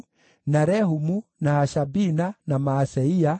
na Rehumu, na Hashabina, na Maaseia,